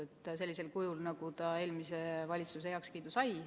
See on sellisel kujul, nagu ta eelmiselt valitsuselt heakskiidu sai.